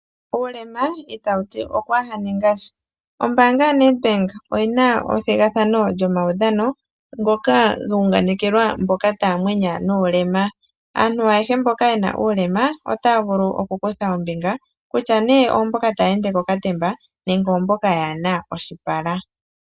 Uulema itawu ti okwaaha ninga sha. Ombaanga yoNedbank oyi na ethigathano lyomaudhano, ngoka ga unganekelwa mboka taa mwenya nuulema. Aantu ayehe mboka ye na uulema otaya vulu okukutha ombinga, kutya oyo mboka taya ende kokatemba nenge oyo mboka yaa na oshipala.